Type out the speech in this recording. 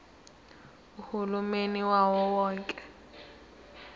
uhulumeni wawo wonke